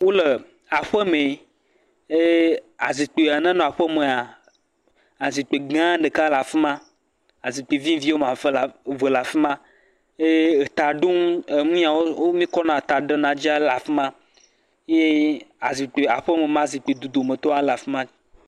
Aƒemee, ee azikpuia nenɔ aƒemea, azikpui gã ɖeka le afi ma, azikpui vivi le afi ma, ye etaɖonu nu ya míkɔna ɖe dzia, le afi ma ye azikpui aƒeme ma zikpui dodome tɔ le afi ma. afi